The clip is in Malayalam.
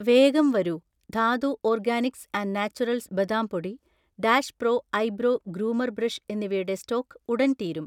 വേഗം വരൂ, ധാതു ഓർഗാനിക്സ് ആന്റ് നാച്ചുറൽസ് ബദാം പൊടി, Dash pro eyebrow groomer brush എന്നിവയുടെ സ്റ്റോക് ഉടൻ തീരും.